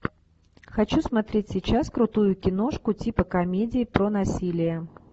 хочу смотреть сейчас крутую киношку типа комедии про насилие